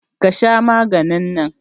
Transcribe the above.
Ka Sha maganin nan.